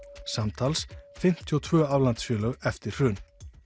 samtals fimmtíu og tvö aflandsfélög eftir hrun